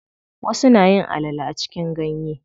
Wasu nayin alale a cikin ganye.